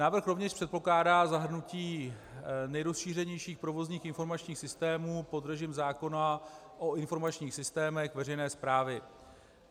Návrh rovněž předpokládá zahrnutí nejrozšířenějších provozních informačních systémů pod režim zákona o informačních systémech veřejné správy.